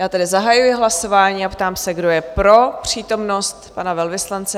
Já tedy zahajuji hlasování a ptám se, kdo je pro přítomnost pana velvyslance?